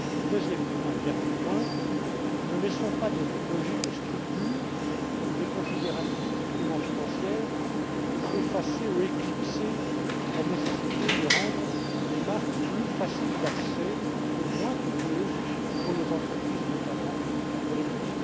Deuxième et dernier point ne laissons pas des logiques de structures ou des considérations strictement financières effacer ou éclipser la nécessité de rendre les marques plus faciles d'accès et moins coûteuses pour nos entreprises, et notamment pour les